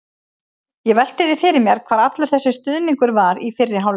Ég velti því fyrir mér hvar allur þessi stuðningur var í fyrri hálfleik?